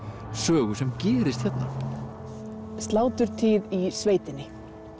sögu sem gerist hérna sláturtíð í sveitinni